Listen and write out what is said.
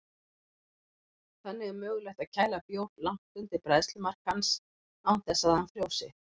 Þannig er mögulegt að kæla bjór langt undir bræðslumark hans án þess að hann frjósi.